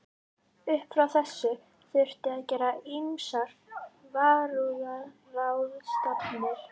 Upp frá þessu þurfti að gera ýmsar varúðarráðstafanir.